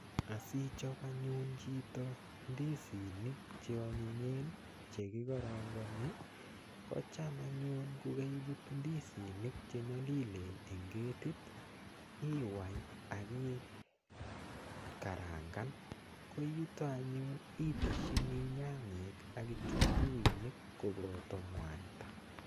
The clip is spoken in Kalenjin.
Asichop anyun chito ndisinik cheonyinyen chekikorongoni kocham anyun kokaibut ndisinik chenyolilen eng ketit iwai aki karangan ko yuto anyun iteshini nyanyek ak kitunguinik koboto mwaita.